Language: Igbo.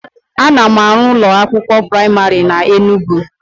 Ana m arụ ụlọ akwụkwọ praimarị na Enugwu